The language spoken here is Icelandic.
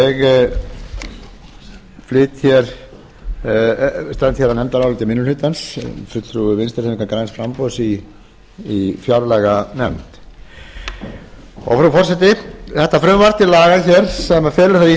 ég flyt hér nefndarálit minni hlutans sem fulltrúi vinstri hreyfingarinnar græns framboðs í fjárlaganefnd frú forseti þetta frumvarp til laga hér sem felur það í